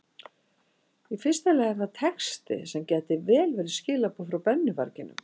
Í fyrsta lagi er það texti sem gæti vel verið skilaboð frá brennuvarginum.